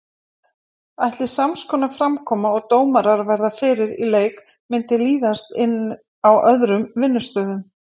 Ætli samskonar framkoma og dómarar verða fyrir í leik myndi líðast inn á öðrum vinnustöðum?